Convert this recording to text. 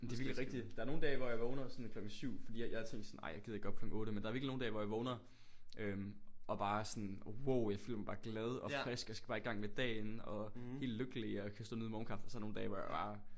Men det er virkelig rigtigt der er nogle dage hvor jeg vågner sådan klokken 7 fordi jeg jeg tænkte sådan ej jeg gider ikke op klokken 8 men der er virkelig nogle dage hvor jeg vågner øh og bare er sådan wow jeg føler mig bare glad og frisk jeg skal bare i gang med dagen og helt lykkelig og kan stå og nyde morgenkaffen og så er der nogle dage hvor jeg bare